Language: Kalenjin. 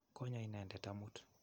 Konyo inendet amut.